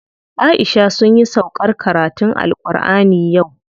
Aisha sunyi sauƙar karatun AlƘurʼani yau.